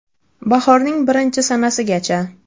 Bahorning birinchi sanasigacha!